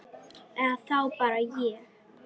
Eða þá bara hér.